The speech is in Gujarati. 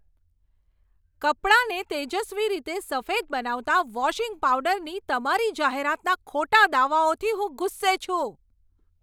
કપડાંને તેજસ્વી રીતે સફેદ બનાવતા વોશિંગ પાવડરની તમારી જાહેરાતના ખોટા દાવાઓથી હું ગુસ્સે છું.